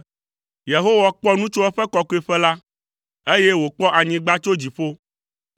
“Yehowa kpɔ nu tso eƒe kɔkɔeƒe la, eye wòkpɔ anyigba tso dziƒo,